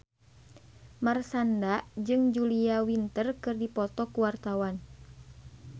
Marshanda jeung Julia Winter keur dipoto ku wartawan